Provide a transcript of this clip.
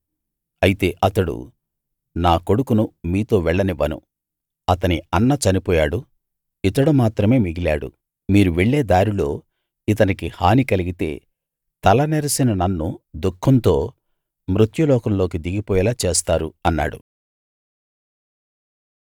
అయితే అతడు నా కొడుకును మీతో వెళ్ళనివ్వను అతని అన్న చనిపోయాడు ఇతడు మాత్రమే మిగిలాడు మీరు వెళ్ళే దారిలో ఇతనికి హాని కలిగితే తల నెరిసిన నన్ను దుఃఖంతో మృత్యులోకంలోకి దిగిపోయేలా చేస్తారు అన్నాడు